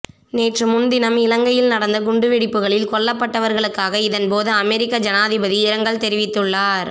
நேற்றுமுன்தினம் இலங்கையில் நடந்த குண்டு வெடிப்புகளில் கொல்லப்பட்டவர்களுக்காக இதன்போது அமெரிக்க ஜனாதிபதி இரங்கல் தெரிவித்துள்ளார்